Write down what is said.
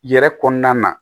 Yɛrɛ kɔnɔna na